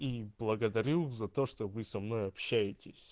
и благодарю за то что вы со мной общаетесь